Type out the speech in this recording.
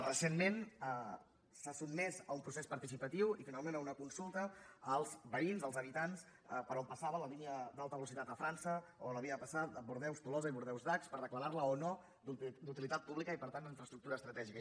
recentment s’ha sotmès a un procés participatiu i finalment a una consulta als veïns als habitants per on passava la línia d’alta velocitat a frança per on havia de passar bordeus tolosa i bordeus dax per declarar la o no d’utilitat pública i per tant d’infraestructura estratègica